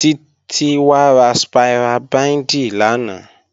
Títí wá ra spira bíǹdì lánàá.